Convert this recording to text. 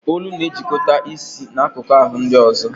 Olu na-ejikọta isi na akụkụ ahụ ndị ọzọ